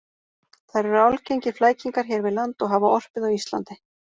Þær eru algengir flækingar hér við land og hafa orpið á Íslandi.